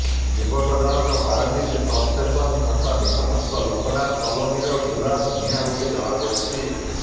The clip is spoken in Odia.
ଯୁବକ ଜଣକ ପାରାଦୀପ ସବଷ୍ଟେସନ୍ ଛକ ନିକଟସ୍ଥ ଲୋକନାଥ କଲୋନୀର ଗୁଲାପ ଭୂୟାଁ ବୋଲି ଜଣାପଡ଼ିଛି